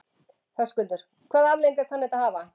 Höskuldur: Hvaða afleiðingar kann þetta að hafa?